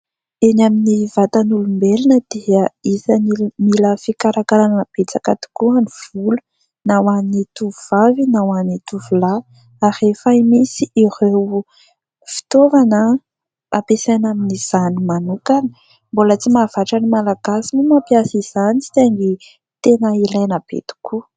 Eny amin'ny vatan'olombelona dia isany mila fikarakarana betsaka tokoa ny volo ; na ho an'ny tovovavy na ho an'ny tovolahy ; ary efa misy ireo fitaovana ampiasaina amin'izany manokana ; mbola tsy mahavatra ny Malagasy moa ny mampiasa izany saingy tena ilaina be tokoa.